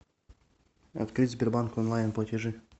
открыть сбербанк онлайн платежи